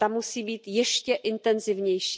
Ta musí být ještě intenzivnější.